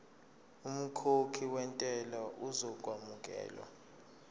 umkhokhi wentela uzokwamukelwa